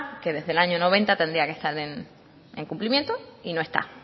que desde el año mil novecientos noventa tendría que estar en cumplimiento y no está